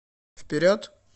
вперед